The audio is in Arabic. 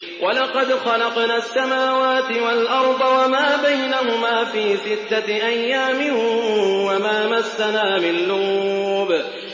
وَلَقَدْ خَلَقْنَا السَّمَاوَاتِ وَالْأَرْضَ وَمَا بَيْنَهُمَا فِي سِتَّةِ أَيَّامٍ وَمَا مَسَّنَا مِن لُّغُوبٍ